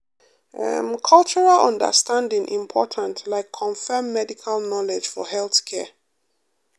em cultural understanding important like confam medical knowledge for healthcare.